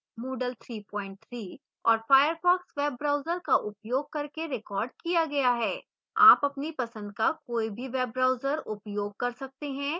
moodle 33 और firefox web browser का उपयोग करके रिकॉर्ड किया गया है